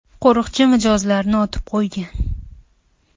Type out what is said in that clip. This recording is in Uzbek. Qo‘riqchi mijozlarni otib qo‘ygan.